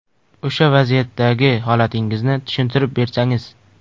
O‘sha vaziyatdagi holatingizni tushuntirib bersangiz?